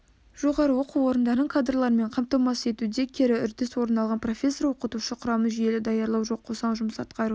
жоғары оқу орындарын кадрлармен қамтамасыз етуде кері үрдіс орын алған профессор-оқытушы құрамын жүйелі даярлау жоқ қоса жұмыс атқару